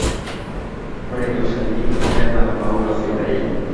ore ilo shani keeta maua sidan